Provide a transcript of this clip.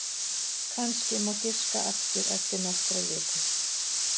Kannski má giska aftur eftir nokkrar vikur.